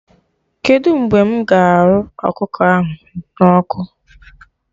Kedụ mgbe mụ ga arụ ọkụkọ ahụ na ọkụ?